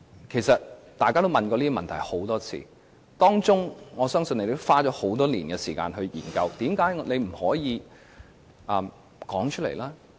其實大家也問過這些問題很多次，我相信政府也花了很多年時間研究，但為甚麼政府不能說出來？